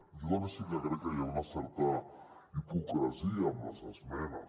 jo també crec que hi ha una certa hipocresia amb les esmenes